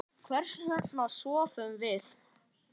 Hvers vegna sofum við?